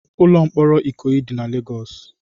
Ụlọ mkpọrọ Ikoyi dị na Legọs.